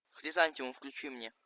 хризантицм включи мне